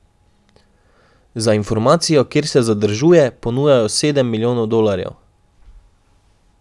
Za informacijo, kjer se zadržuje, ponujajo sedem milijonov dolarjev.